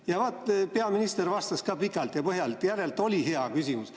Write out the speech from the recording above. Ja vot, peaminister vastas pikalt ja põhjalikult, järelikult oli hea küsimus.